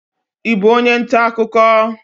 Ị bú onye ntà akụkọ?